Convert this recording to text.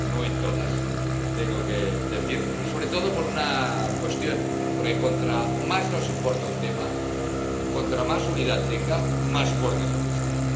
no todas, tengo que decir—, sobre todo por una cuestión porque cuanto más nos importe un tema, cuanta más unidad tenga, más fuerte es el mensaje.